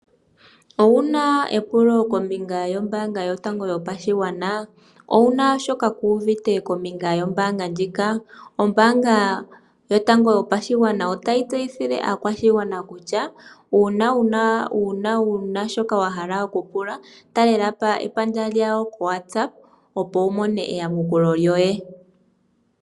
Owu na epulo kombinga yombaanga yotango yopashigwana? Owu na shoka ku uvite kombinga yombaanga ndjika? Ombaanga yotango yopashigwana otayi tseyithile aakwashigwana kutya, uuna wu na shoka wa hala okupula, talela po epandja lyawo ko WhatsApp opo wu mone eyamukulo lyoye.